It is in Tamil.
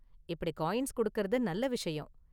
இப்படி காயின்ஸ் கொடுக்குறது நல்ல விஷயம்.